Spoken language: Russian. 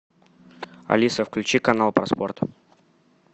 алиса включи канал про спорт